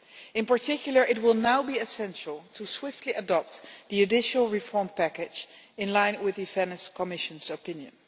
In particular, it will now be essential to swiftly adopt the judicial reform package in line with the Venice Commission's opinion.